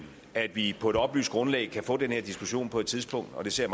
at vi på et oplyst grundlag kan få den her diskussion på et tidspunkt og det ser